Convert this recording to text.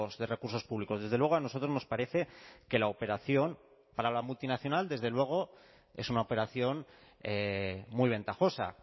de recursos públicos desde luego a nosotros nos parece que la operación para la multinacional desde luego es una operación muy ventajosa